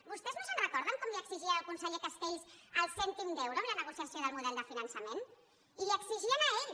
vostès no se’n recorden com li exigien al conseller castells el cèntim d’euro amb la negociació del model de finançament i li ho exigien a ell